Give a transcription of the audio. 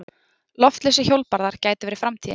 Loftlausir hjólbarðar gætu verið framtíðin.